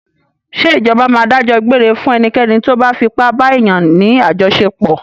Ṣé Ìjọba máa dájọ́ gbére fún ẹnikẹ́ni tóbá fipá ba èèyàn ní àjọṣepọ̀.